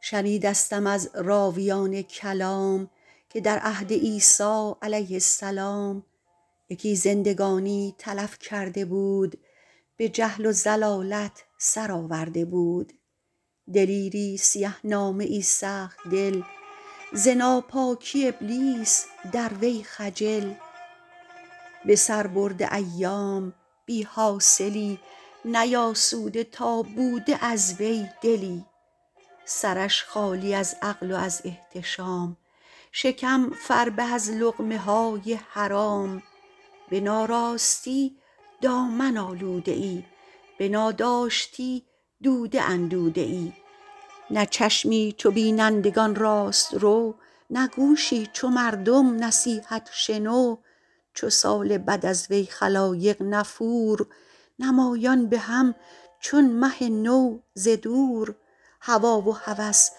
شنیدستم از راویان کلام که در عهد عیسی علیه السلام یکی زندگانی تلف کرده بود به جهل و ضلالت سر آورده بود دلیری سیه نامه ای سخت دل ز ناپاکی ابلیس در وی خجل به سر برده ایام بی حاصلی نیاسوده تا بوده از وی دلی سرش خالی از عقل و از احتشام شکم فربه از لقمه های حرام به ناراستی دامن آلوده ای به ناداشتی دوده اندوده ای نه چشمی چو بینندگان راست رو نه گوشی چو مردم نصیحت شنو چو سال بد از وی خلایق نفور نمایان به هم چون مه نو ز دور هوی و هوس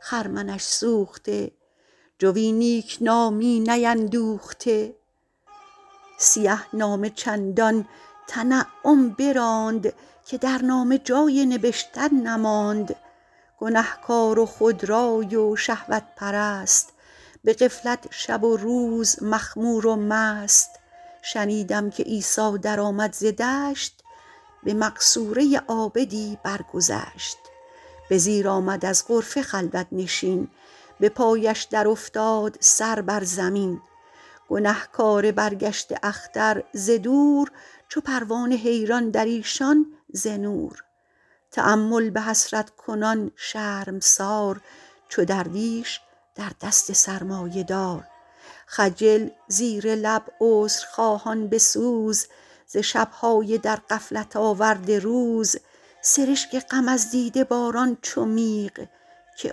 خرمنش سوخته جوی نیکنامی نیندوخته سیه نامه چندان تنعم براند که در نامه جای نبشتن نماند گنهکار و خودرای و شهوت پرست به غفلت شب و روز مخمور و مست شنیدم که عیسی در آمد ز دشت به مقصوره عابدی برگذشت به زیر آمد از غرفه خلوت نشین به پایش در افتاد سر بر زمین گنهکار برگشته اختر ز دور چو پروانه حیران در ایشان ز نور تأمل به حسرت کنان شرمسار چو درویش در دست سرمایه دار خجل زیر لب عذرخواهان به سوز ز شبهای در غفلت آورده روز سرشک غم از دیده باران چو میغ که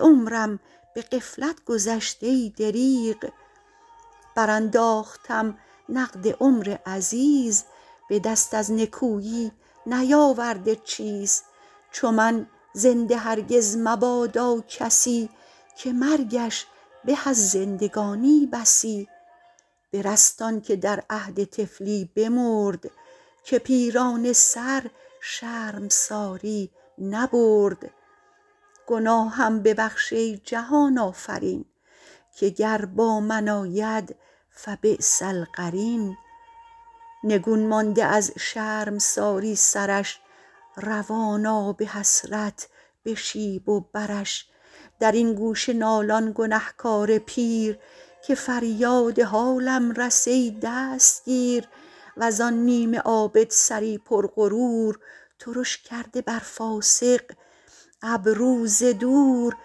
عمرم به غفلت گذشت ای دریغ بر انداختم نقد عمر عزیز به دست از نکویی نیاورده چیز چو من زنده هرگز مبادا کسی که مرگش به از زندگانی بسی برست آن که در عهد طفلی بمرد که پیرانه سر شرمساری نبرد گناهم ببخش ای جهان آفرین که گر با من آید فبیس القرین نگون مانده از شرمساری سرش روان آب حسرت به شیب و برش در این گوشه نالان گنهکار پیر که فریاد حالم رس ای دستگیر وز آن نیمه عابد سری پر غرور ترش کرده بر فاسق ابرو ز دور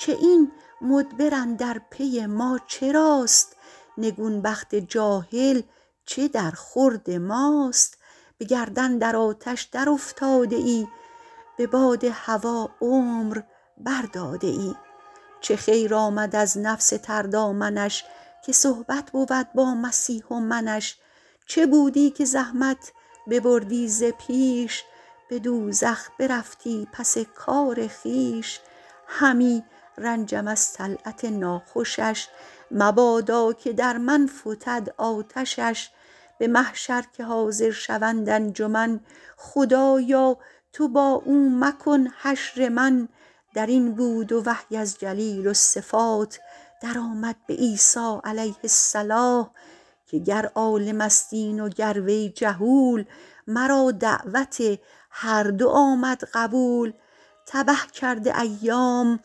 که این مدبر اندر پی ما چراست نگون بخت جاهل چه در خورد ماست به گردن در آتش در افتاده ای به باد هوی عمر بر داده ای چه خیر آمد از نفس تر دامنش که صحبت بود با مسیح و منش چه بودی که زحمت ببردی ز پیش به دوزخ برفتی پس کار خویش همی رنجم از طلعت ناخوشش مبادا که در من فتد آتشش به محشر که حاضر شوند انجمن خدایا تو با او مکن حشر من در این بود و وحی از جلیل الصفات در آمد به عیسی علیه الصلوة که گر عالم است این و گر وی جهول مرا دعوت هر دو آمد قبول تبه کرده ایام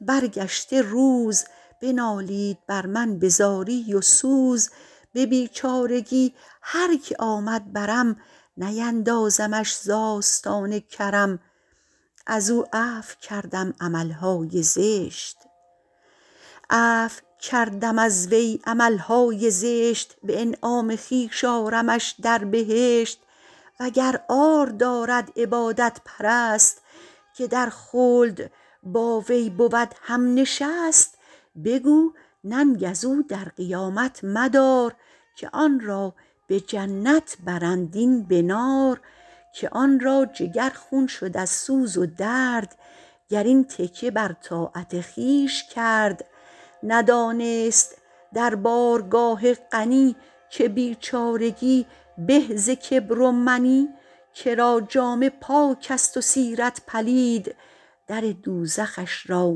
برگشته روز بنالید بر من به زاری و سوز به بیچارگی هر که آمد برم نیندازمش ز آستان کرم عفو کردم از وی عملهای زشت به انعام خویش آرمش در بهشت و گر عار دارد عبادت پرست که در خلد با وی بود هم نشست بگو ننگ از او در قیامت مدار که آن را به جنت برند این به نار که آن را جگر خون شد از سوز و درد گر این تکیه بر طاعت خویش کرد ندانست در بارگاه غنی که بیچارگی به ز کبر و منی کرا جامه پاک است و سیرت پلید در دوزخش را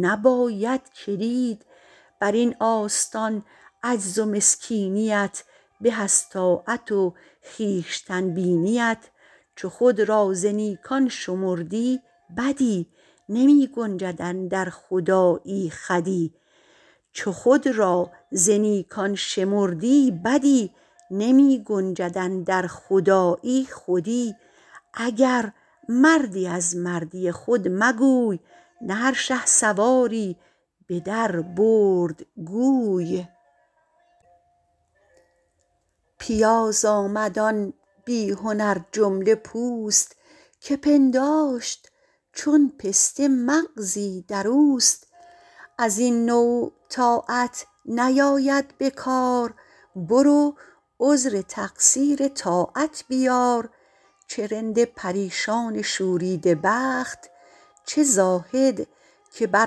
نباید کلید بر این آستان عجز و مسکینیت به از طاعت و خویشتن بینیت چو خود را ز نیکان شمردی بدی نمی گنجد اندر خدایی خودی اگر مردی از مردی خود مگوی نه هر شهسواری به در برد گوی پیاز آمد آن بی هنر جمله پوست که پنداشت چون پسته مغزی در اوست از این نوع طاعت نیاید به کار برو عذر تقصیر طاعت بیار چه رند پریشان شوریده بخت چه زاهد که بر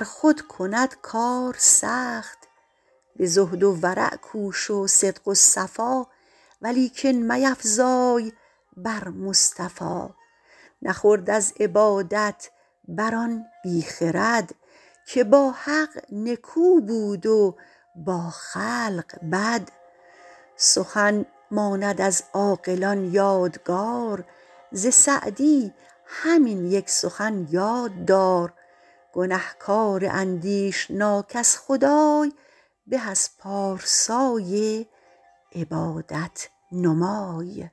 خود کند کار سخت به زهد و ورع کوش و صدق و صفا ولیکن میفزای بر مصطفی نخورد از عبادت بر آن بی خرد که با حق نکو بود و با خلق بد سخن ماند از عاقلان یادگار ز سعدی همین یک سخن یاد دار گنهکار اندیشناک از خدای به از پارسای عبادت نمای